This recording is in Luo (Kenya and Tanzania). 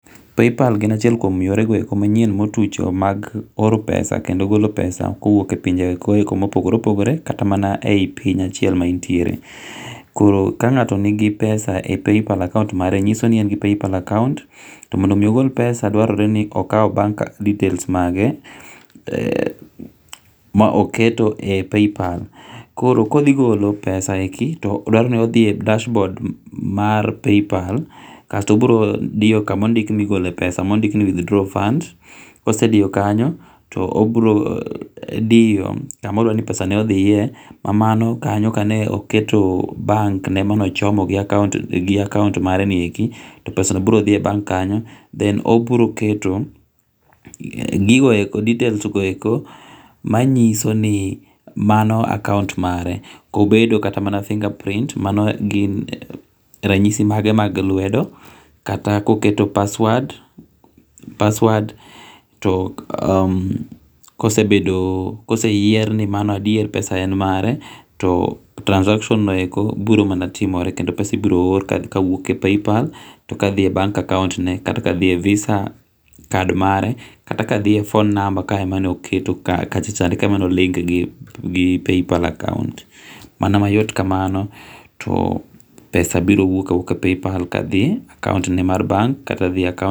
Paypal gin achiel kuom gigo manyien motucho mag oro pesa kendo golo pesa ko wuok ok e pinje go eko ma opogore opogore kata mana e piny achiel ma intiere koro ka ngato nigi pesa e paypal account mare nyiso ni en gi paypal account mondo mi ogol pesa dwarore mondo okaw bank details mage ma oketo e paypal koro ko odhi golo pesa e gino dwaro ni odhi e kash board mar Paypal kasto obiro diyo kama ondik ma igolo pesa mo ndik ni withdraw funds kose diyo kanyo obiro diyo kama odwa ni pesa ne odhiye ma mano kane oketo bank ne mane ochomo gi account ne mare ni eki to pesa no biro dhi e bank kanyo then obiro keto gigo eko details manyiso ni mano account mare ko bedo kata mana fingure print mado gin ranyisi mage mag lwedo kata ko keto [r]password[r] password to kose yiene ni pesa en mare to transaction no eko biro manatimore kendo pesa ibiro or ka owuok e paypal to ka dhi e bank account ne kata ka dhi e visa card mare to kata ka dhi e phone number ka ema no keto kachacha ka emano ndik gi paypal account mana ma yot ka mano to pesa biro wuok a wuoka e paypal ka dhi e bank kata acccount.